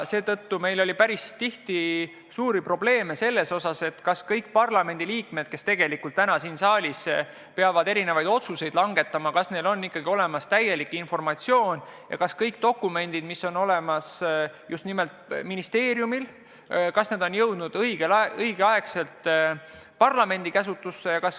Seetõttu on meil tekkinud päris tihti probleeme teadmisega, kas parlamendiliikmetel, kes peavad siin saalis erinevaid otsuseid langetama, on ikka olemas täielik informatsioon ja kas kõik dokumendid, mis on olemas ministeeriumil, on jõudnud õigel ajal parlamendi käsutusse.